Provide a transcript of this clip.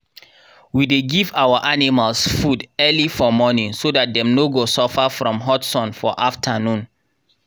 we dey give our animals food early for morning so that dem no go suffer from hot sun for afternoon.